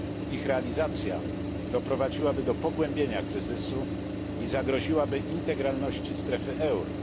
Ich realizacja doprowadziłaby do pogłębienia kryzysu i zagroziłaby integralności strefy euro.